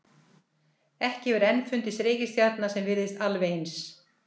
Ekki hefur enn fundist reikistjarna sem virðist alveg eins.